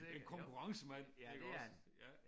En konkurrencemand iggås